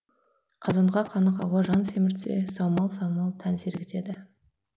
азонға қанық ауа жан семіртсе саумал самал тән сергітеді